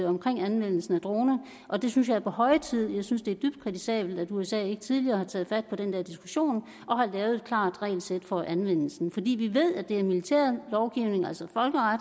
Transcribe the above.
omkring anvendelsen af droner og det synes jeg er på høje tid jeg synes det er dybt kritisabelt at usa ikke tidligere har taget fat på den her diskussion og har lavet et klart regelsæt for anvendelsen for vi ved at det er militær lovgivning altså